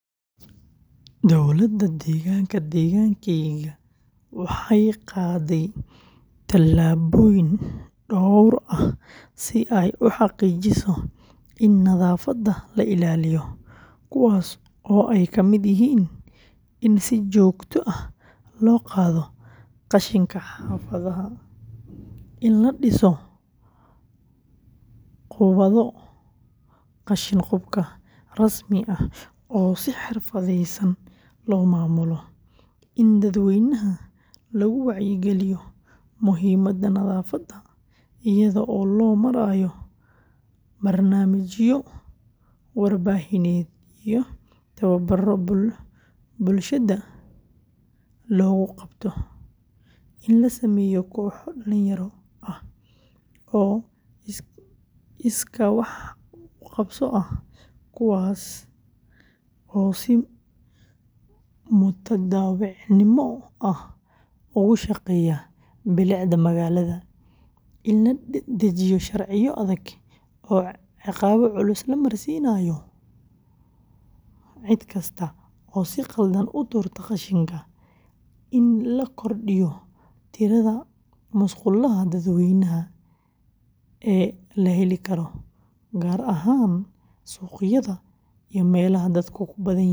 Dowladda deegaanka deegaankaayga waxay qaaday tallaabooyin dhowr ah si ay u xaqiijiso in nadaafadda la ilaaliyo, kuwaas oo ay ka mid yihiin in si joogto ah loo qaado qashinka xaafadaha, in la dhiso goobaha qashin-qubka rasmi ah oo si xirfadeysan loo maamulo, in dadweynaha lagu wacyigeliyo muhiimadda nadaafadda iyada oo loo marayo barnaamijyo warbaahineed iyo tababbarro bulshada loogu qabto, in la sameeyo kooxo dhalinyaro ah oo iskaa wax u qabso ah kuwaas oo si mutadawacnimo ah ugu shaqeeya bilicda magaalada, in la dejiyo sharciyo adag oo ciqaabo culus la marsiinayo cid kasta oo si khaldan u tuurta qashinka, in la kordhiyo tirada musqulaha dadweynaha ee la heli karo, gaar ahaan suuqyada iyo meelaha dadku ku badan yihiin.